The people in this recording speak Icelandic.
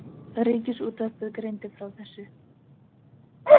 Ríkisútvarpið greindi frá þessu